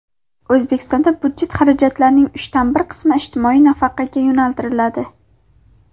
O‘zbekistonda budjet xarajatlarining uchdan bir qismi ijtimoiy nafaqaga yo‘naltiriladi.